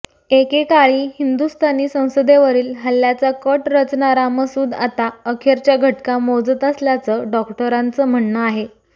एकेकाळी हिंदुस्थानी संसदेवरील हल्ल्याचा कट रचणारा मसूद आता अखेरच्या घटका मोजत असल्याचं डॉक्टरांचं म्हणणं आहे